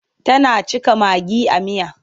Tana cika magi a miya.